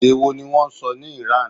Èdè wo ni wọ́n sọ ní ìran?